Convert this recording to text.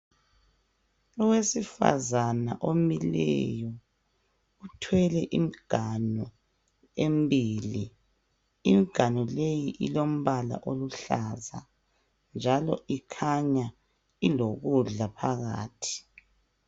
Owesifazana omileyo uthwele imganu embili. Imganu leyi ilombala oluhlaza njalo ikhanya ilokudla phakathi.